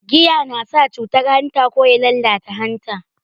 Giya yana sa cutar hanta ko ya lalata hantar